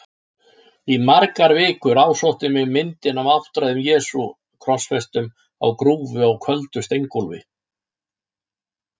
Í margar vikur ásótti mig myndin af áttræðum Jesú krossfestum á grúfu á köldu steingólfi.